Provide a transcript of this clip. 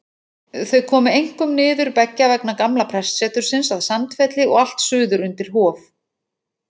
Þau komu einkum niður beggja vegna gamla prestsetursins að Sandfelli og allt suður undir Hof.